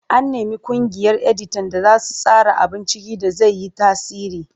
An nemi ƙungiyar editan da su tsara abun ciki da zai yi tasiri.